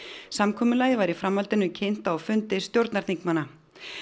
samkomulagið var í framhaldinu kynnt á fundi stjórnarþingmanna